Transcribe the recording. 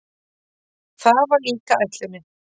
Það var líka ætlunin.